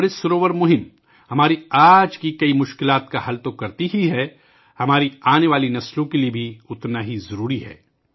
امرت سروور ابھیان نہ صرف آج ہمارے بہت سے مسائل کو حل کرتا ہے بلکہ یہ ہماری آنے والی نسلوں کے لئے بھی اتنا ہی ضروری ہے